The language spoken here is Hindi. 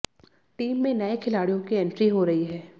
टीम में नए खिलाड़ियों की एंट्री हो रही है